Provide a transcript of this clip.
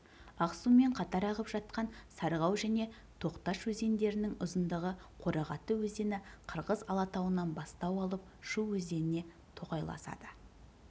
ақсумен қатар ағып жатқан сарғау және тоқташ өзендерінің ұзындығы қорағаты өзені қырғыз алатауынан бастау алып шу өзеніне тоқайласады